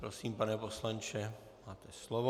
Prosím, pane poslanče, máte slovo.